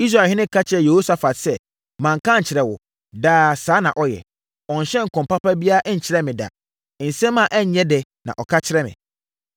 Israelhene ka kyerɛɛ Yehosafat sɛ, “Manka ankyerɛ wo? Daa, saa na ɔyɛ. Ɔnhyɛɛ nkɔm papa biara nkyerɛɛ me da. Nsɛm a ɛnyɛ dɛ na ɔka kyerɛ me.”